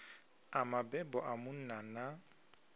a mabebo a munna na